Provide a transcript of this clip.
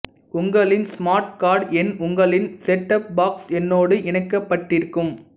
உங்களின் smart card எண் உங்களின் செட் டாப் பாக்ஸ் எண்ணோடு இணைக்கப்பட்டிருக்கும்